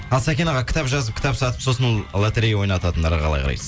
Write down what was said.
ал сәкен аға кітап жазып кітап сатып сосын лоторея ойнататындарға қалай қарайсыз